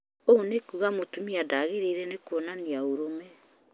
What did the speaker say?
ũũ nĩkuuga atĩ mũtumia ndagĩrĩire kuonania ũrume